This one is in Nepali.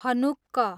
हनुक्कः